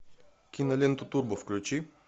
киноленту турбо включи